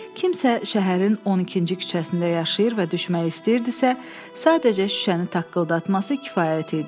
Kimsə şəhərin 12-ci küçəsində yaşayır və düşmək istəyirdisə, sadəcə şüşəni taqqıldatması kifayət idi.